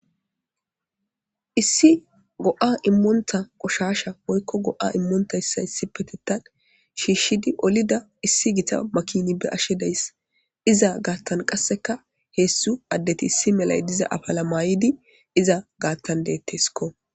issi go7a immonta qoshasha woykko go7a immontayssa issi petetan shiishshidi olida issi gita makini be ashe dayss iza gaattan qasseka heessu addeti issi melay diza afala maayidi iza gaattan deetteskko